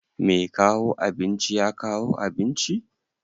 Mai kawo abinci ya kawo abinci?